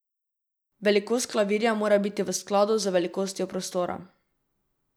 Velikost klavirja mora biti v skladu z velikostjo prostora.